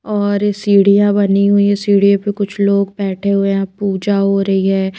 और ये सीढ़ियां बनी हुई है सीढ़ियों पर कुछ लोग बैठे हुए हैं पूजा हो रही है।